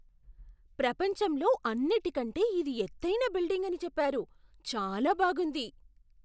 ప్రపంచంలో అన్నిటికంటే ఇది ఎత్తైన బిల్డింగ్ అని చెప్పారు. చాలా బాగుంది!